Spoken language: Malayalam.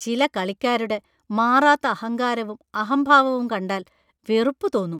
ചില കളിക്കാരുടെ മാറാത്ത അഹങ്കാരവും അഹംഭാവവും കണ്ടാല്‍ വെറുപ്പു തോന്നും.